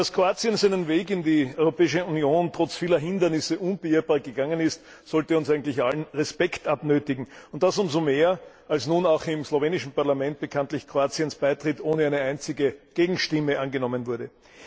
Dass Kroatien seinen Weg in die Europäische Union trotz vieler Hindernisse unbeirrbar gegangen ist, sollte uns eigentlich allen Respekt abnötigen. Das umso mehr, als nun auch im slowenischen Parlament bekanntlich Kroatiens Beitritt ohne eine einzige Gegenstimme angenommen wurde.